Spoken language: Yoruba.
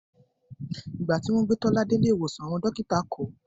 Ìgbà tí wọ́n gbé Tọ́lá dé ilé ìwòsàn, àwọn dókítà kọ̀ ọ́